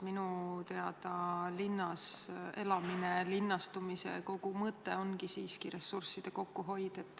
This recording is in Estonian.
Minu teada ongi linnas elamise, linnastumise kogu mõte siiski ressursside kokkuhoid.